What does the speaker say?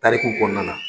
Tariku kɔnɔna na